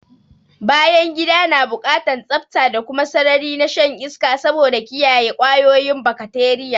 Bayangida na buƙatan tsafta da kuma sarari na shan iska saboda kiyaye kwayoyin bakateriya